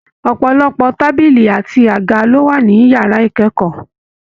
Ọpọlọpọ tábìlì àti àga ló wà ní yàrá ikẹkọọ.